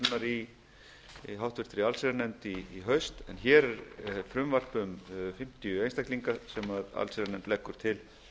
sérstakrar umfjöllunar í háttvirta allsherjarnefnd í haust en hér er frumvarp um fimmtíu einstaklinga sem allsherjarnefnd leggur til